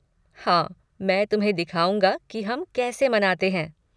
हाँ मैं तुम्हें दिखाऊँगा कि हम कैसे मनाते हैं।